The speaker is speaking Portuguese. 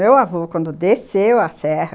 Meu avô, quando desceu a serra,